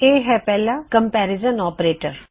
ਇਹ ਹੈ ਪਹਿਲਾ ਕੰਮਪੇਰਿਜਨ ਆਪਰੇਟਰ